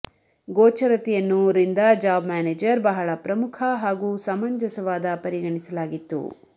ಗೋಚರತೆಯನ್ನು ರಿಂದ job manager ಬಹಳ ಪ್ರಮುಖ ಹಾಗೂ ಸಮಂಜಸವಾದ ಪರಿಗಣಿಸಲಾಗಿತ್ತು